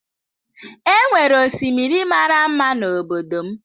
E nwere osimiri mara mma n’obodo m.